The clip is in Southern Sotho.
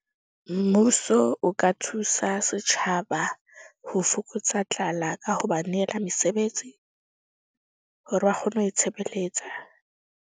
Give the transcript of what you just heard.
Mmuso o ka thusa setjhaba ho fokotsa tlala ka ho ba nehela mesebetsi, hore ba kgone ho itshebeletsa.